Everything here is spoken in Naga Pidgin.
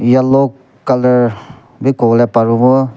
yellow colour bhi kobole paribo.